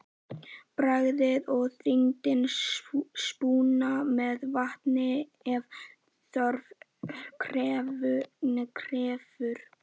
Bragðið og þynnið súpuna með vatni ef þörf krefur.